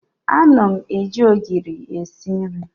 Ana m eji ogiri esi nri.